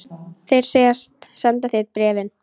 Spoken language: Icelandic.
Þeir segjast senda þér bréfin.